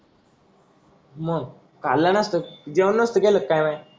मग खाल्ला नसता जेवण नसत केलं का मी?